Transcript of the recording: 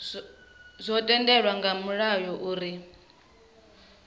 zwo tendelwa nga mulayo uri